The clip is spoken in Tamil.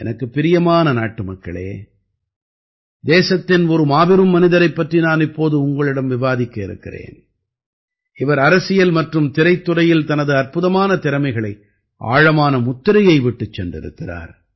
எனக்குப் பிரியமான நாட்டுமக்களே தேசத்தின் ஒரு மாபெரும் மனிதரைப் பற்றி நான் இப்போது உங்களிடம் விவாதிக்க இருக்கிறேன் இவர் அரசியல் மற்றும் திரைத் துறையில் தனது அற்புதமான திறமைகளை ஆழமான முத்திரையை விட்டுச் சென்றிருக்கிறார்